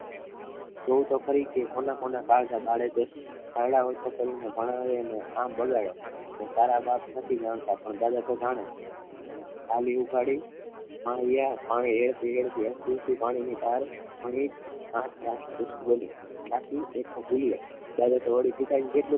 જુઓ તો ખરી કોના કોના કાળજા કાઢે છે ઓછું કરીને કામ કરે અને ભણાવે તારો બાપ નથી જાણતા પણ તારા દાદા આલી ઉખાડી